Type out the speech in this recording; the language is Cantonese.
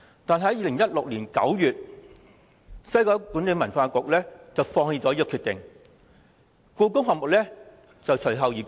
但是，在2016年9月1日，西九管理局放棄這項決定，而故宮館亦隨後公布。